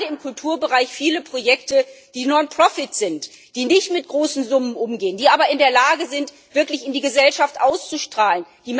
Wir haben gerade im Kulturbereich viele Projekte, die nonprofit sind, die nicht mit großen Summen umgehen, aber in der Lage sind, wirklich in die Gesellschaft auszustrahlen.